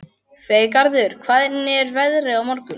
Freygarður, hvernig er veðrið á morgun?